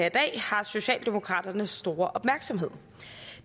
i dag har socialdemokraternes store opmærksomhed